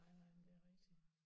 Nej nej men det er rigtig